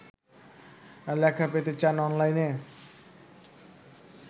লেখা পেতে চান অনলাইনে